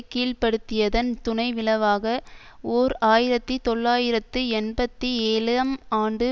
கீழ்ப்படுத்தியதன் துணை விளவாக ஓர் ஆயிரத்தி தொள்ளாயிரத்து எழுபத்தி ஏழம் ஆண்டு